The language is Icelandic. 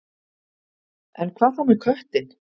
En hvað þá með köttinn?